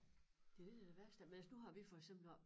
Det det der det værste men altså nu har vi for eksempel også